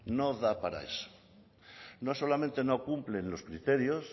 no da para eso no solamente no cumplen los criterios